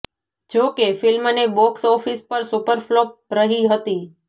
જો કે ફિલ્મને બોક્ષ ઓફિસ પર સુપર ફ્લોપ રહી હતી